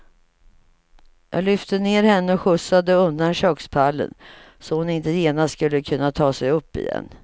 Jag lyfte ner henne och skjutsade undan kökspallen, så hon inte genast skulle kunna ta sig upp igen.